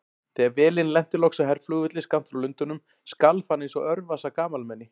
Þegar vélin lenti loks á herflugvelli skammt frá Lundúnum skalf hann einsog örvasa gamalmenni.